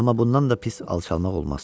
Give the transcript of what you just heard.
Amma bundan da pis alçalmaq olmaz.